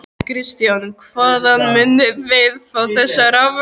Kristján: Hvaðan munið þið fá þessa raforku?